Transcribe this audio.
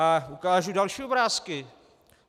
A ukážu další obrázky.